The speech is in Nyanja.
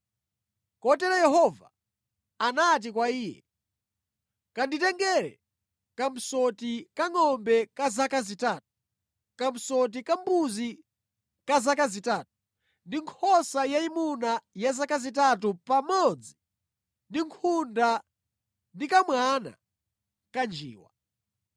Kotero Yehova anati kwa iye, “Kanditengere kamsoti kangʼombe ka zaka zitatu, kamsoti ka mbuzi ka zaka zitatu, ndi nkhosa yayimuna ya zaka zitatu pamodzi ndi nkhunda ndi kamwana ka njiwa.”